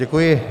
Děkuji.